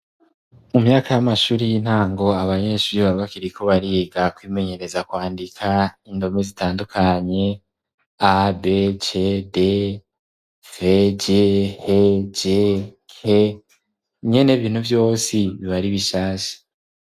Mu myaka y'amashuri y'intango, abanyeshure baba bakiriko bariga kwimenyereza kwandika indomi zitandukanye: a, b, c, d, v, g, h, g, k, nyene bintu vyose biba ari bishashe.